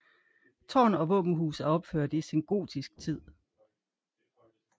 Tårn og våbenhus er opført i sengotisk tid